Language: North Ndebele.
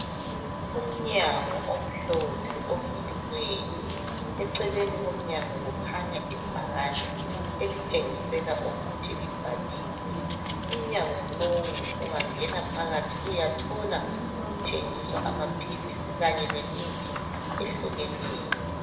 umnyango omhlophe ovuliweyo eceleni komnyango kukhanya ibhakane elitshengisela ukuthi libhaliwe umnyango lowu ungangena phakathi uyathola kuthengiswa amaphilisi kanye lemithi ehlukeneyo